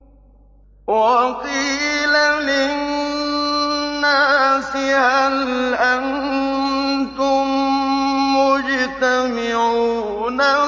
وَقِيلَ لِلنَّاسِ هَلْ أَنتُم مُّجْتَمِعُونَ